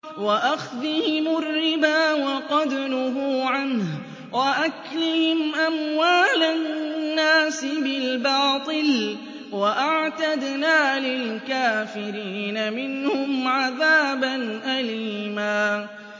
وَأَخْذِهِمُ الرِّبَا وَقَدْ نُهُوا عَنْهُ وَأَكْلِهِمْ أَمْوَالَ النَّاسِ بِالْبَاطِلِ ۚ وَأَعْتَدْنَا لِلْكَافِرِينَ مِنْهُمْ عَذَابًا أَلِيمًا